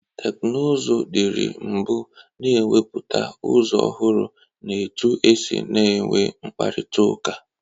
Teknuzụ dịrị mbụ na-ewepụta ụzọ ọhụrụ n'etu esi na-enwe mkparịtaụka.